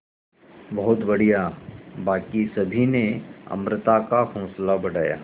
बहुत बढ़िया बाकी सभी ने अमृता का हौसला बढ़ाया